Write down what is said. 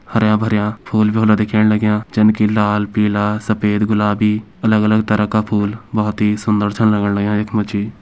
हर्या भर्या फूल भी होला दिखेण लाग्यां जन की लाल पीला सफ़ेद गुलाबी अलग अलग तरह का फूल बोहोत ही सुंदर छन लगण लग्यां इख मा जी।